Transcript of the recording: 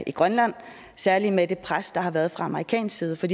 i grønland særlig med det pres der har været fra amerikansk side for